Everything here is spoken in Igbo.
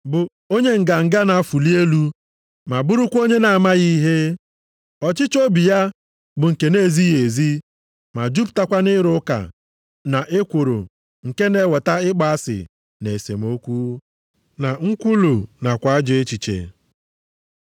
bụ onye nganga na-afụli elu, ma bụrụkwa onye na-amaghị ihe. Ọchịchọ obi ya bụ nke na-ezighị ezi ma jupụtakwa nʼịrụ ụka na ekworo nke na-eweta ịkpọ asị na esemokwu, na nkwulu nakwa ajọ echiche,